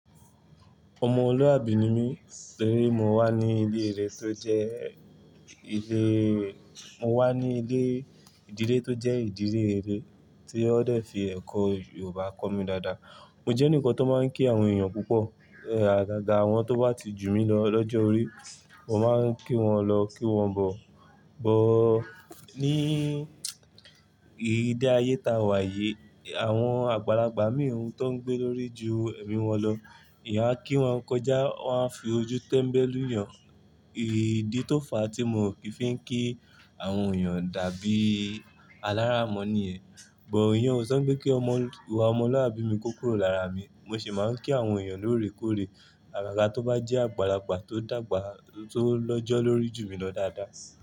Ọmọ lúàbí ni mí, torí mo wà ní ilé ire tó jẹ́ ilé, mo wà ní ilé ìdílé tó jẹ́ ìdílé rere tí wọ́n dẹ̀ fi ẹ̀kọ́ Yorùbá kọ́ mi dáadáa. Mo jẹ́ ẹnìkan tó máa ń kí àwọn èèyàn púpọ̀. Àgàgà àwọn tó bá ti jù mí lọ lọ́jọ́ orí, mo máa ń kí wọn lọ, kí wọn bọ̀. Ìlé ayé táa wà yìí, àwọn àgbàlagbà míì ohun tó ń gbé lórí ju ẹ̀mí wọn lọ, èèyàn á kí wọn kọjá, wọ́n á fi ojú tẹ́mbẹ́ lù yàn. Idí tó fà á tí mo fi ń kí àwọn èèyàn dàbí alára mọ́ níyẹn. Bò ìyẹn ò sọ ńpé kí ìwà ọmọlúàbí mi kó kúrò lára mi. Mo sì máa ń kí àwọn èèyàn lóòrèkóòrè. Àgàgà tó bá jẹ́ àgbàlagbà tó dàgbà tó lọ́jọ́ lórí ju mi lọ dáadáa.